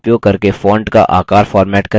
text पर click करें